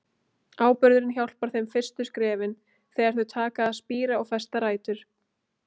Áburðurinn hjálpar þeim fyrstu skrefin, þegar þau taka að spíra og festa rætur.